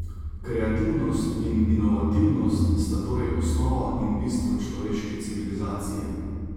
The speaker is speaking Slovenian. Kreativnost in inovativnost sta torej osnova in bistvo človeške civilizacije.